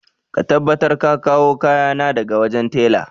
Ka tabbatar ka kawo kayana daga wajen tela!